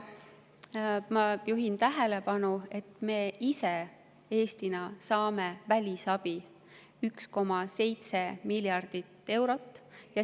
Ma juhin tähelepanu, et me ise Eestis saame välisabi 1,7 miljardit eurot.